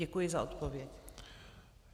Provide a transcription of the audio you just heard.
Děkuji za odpověď.